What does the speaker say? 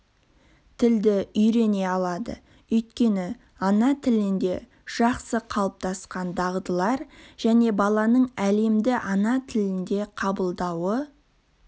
тілді үйрене алады өйткені ана тілінде жақсы қалыптасқан дағдылар және баланың әлемді ана тілінде қабылдауы